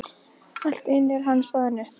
Allt í einu er hann staðinn upp.